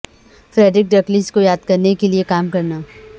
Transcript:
Frederick Douglass کو یادگار کرنے کے لئے کام کرنا